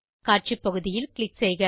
காட்சி பகுதியில் க்ளிக் செய்க